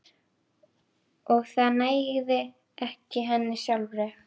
Og það nægði ekki henni sjálfri.